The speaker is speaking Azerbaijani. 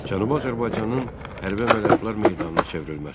Cənubi Azərbaycanın hərbi əməliyyatlar meydanına çevrilməsi.